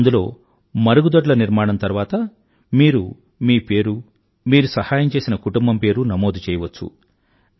అందులో మరుగుదొడ్ల నిర్మాణం తరువాత మరు మీ పేరు మీరు సహాయం చేసిన కుటుంబం పేరు నమోదు చేయవచ్చు